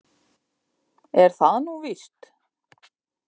Er það nú víst ?